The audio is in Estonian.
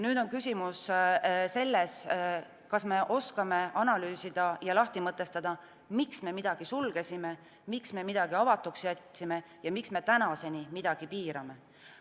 Nüüd on küsimus selles, kas me oskame analüüsida ja lahti mõtestada, miks me midagi sulgesime, miks me midagi avatuks jätsime ja miks me tänaseni midagi piirame.